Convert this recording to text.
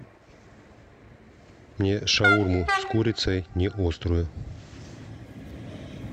мне шаурму с курицей не острую